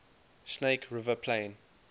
snake river plain